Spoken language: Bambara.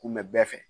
Kun bɛ bɛɛ fɛ